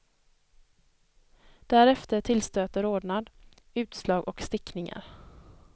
Därefter tillstöter rodnad, utslag och stickningar.